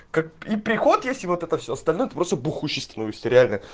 как и приход если вот это все остальное ты просто бухущий становишься реально